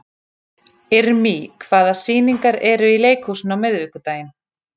Irmý, hvaða sýningar eru í leikhúsinu á miðvikudaginn?